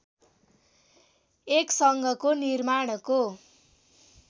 एक सङ्घको निर्माणको